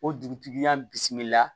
O dugutigiya bisimila